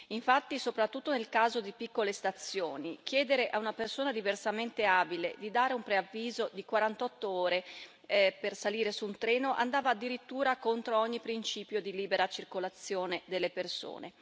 Infatti, soprattutto nel caso di piccole stazioni, chiedere a una persona diversamente abile di dare un preavviso di 48 ore per salire su un treno andava addirittura contro ogni principio di libera circolazione delle persone.